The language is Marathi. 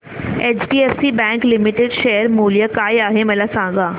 एचडीएफसी बँक लिमिटेड शेअर मूल्य काय आहे मला सांगा